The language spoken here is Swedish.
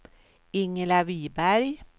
Ingela Viberg